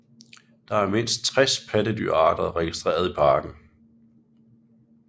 Der er mindst 60 pattedyrarter registreret i parken